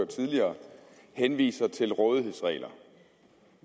tidligere henviser til rådighedsregler